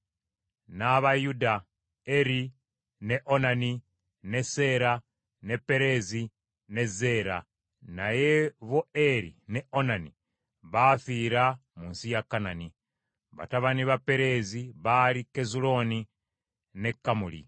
N’aba Yuda: Eri, ne Onani, ne Seera, ne Pereezi ne Zeera; naye bo Eri ne Onani baafiira mu nsi ya Kanani. Batabani ba Pereezi baali: Kezulooni ne Kamuli.